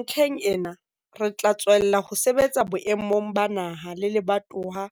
Ntlheng ena, re tla tswella ho sebetsa boemong ba naha le lebatowa